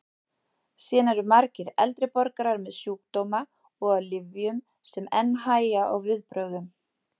Síðan eru margir eldri borgarar með sjúkdóma og á lyfjum sem enn hægja á viðbrögðum.